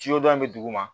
in bɛ duguma